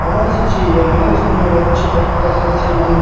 बहोत सी चीजे है यार उसमें अच्छे पत्ता सी जे--